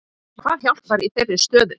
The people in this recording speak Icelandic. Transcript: Hvað hjálpar í þeirri stöðu?